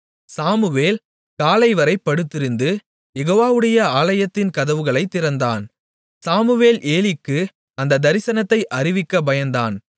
Samuel காலைவரை படுத்திருந்து யெகோவாவுடைய ஆலயத்தின் கதவுகளைத் திறந்தான் சாமுவேல் ஏலிக்கு அந்தத் தரிசனத்தை அறிவிக்கப் பயந்தான்